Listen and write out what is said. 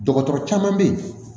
Dɔgɔtɔrɔ caman bɛ yen